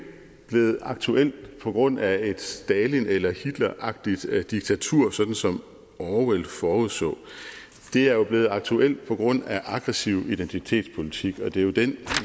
blevet aktuelt på grund af et stalin eller hitleragtigt diktatur sådan som orwell forudså det er blevet aktuelt på grund af en aggressiv identitetspolitik og det er jo den